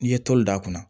N'i ye toli d'a kunna